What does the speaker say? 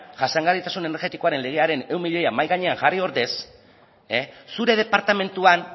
jasangarritasun energetikoaren legearen ehun milioiak mahai gainean jarri ordez zure departamentuan